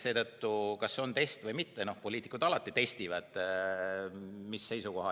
Seetõttu, kas see on test või mitte – poliitikud alati testivad.